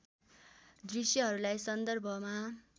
दृश्यहरूलाई सन्दर्भमा